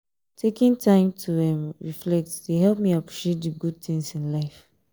taking time to um reflect dey help me appreciate the good things um in life.